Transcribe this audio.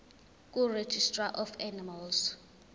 kuregistrar of animals